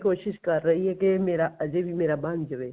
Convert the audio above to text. ਕੋਸ਼ਿਸ਼ ਕਰ ਰਹੀ ਏ ਕੀ ਮੇਰਾ ਅਜੇ ਵੀ ਮੇਰਾ ਬਣ ਜਵੇ